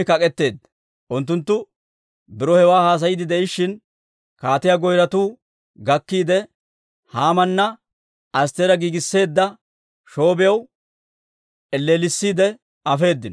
Unttunttu biro hewaa haasayiidde de'ishshin, kaatiyaa goyratuu gakkiide, Haamana Astteera giigisseedda shoobiyaw elleellisiide afeedino.